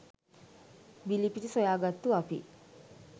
බිලිපිති සොයා ගත්තු අපි